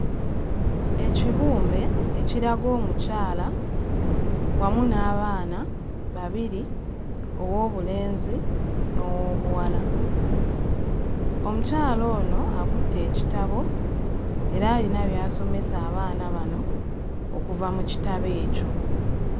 Ekibumbe ekiraga omukyala wamu n'abaana babiri: ow'obulenzi n'ow'obuwala. Omukyala ono akutte ekitabo era ayina by'asomesa abaana bano okuva mu kitabo ekyo.